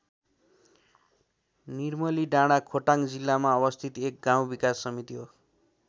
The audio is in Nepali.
निर्मलीडाँडा खोटाङ जिल्लामा अवस्थित एक गाउँ विकास समिति हो।